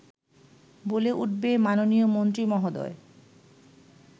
বলে উঠবে, মাননীয় মন্ত্রী মহোদয়